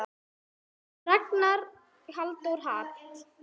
Ragnar Halldór Hall.